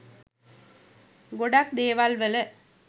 ගොඩක් දේවල්වල